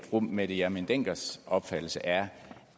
fru mette hjermind denckers opfattelse er